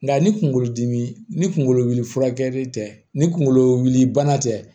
Nka ni kunkolodimi ni kunkolo wuli furakɛli tɛ ni kunkolo wuli bana tɛ